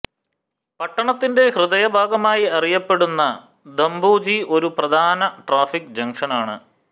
പട്ടണത്തിൻറെ ഹൃദയഭാഗമായി അറിയപ്പെടുന്ന ധംബോജി ഒരു പ്രധാന ട്രാഫിക് ജംഗ്ഷനാണ്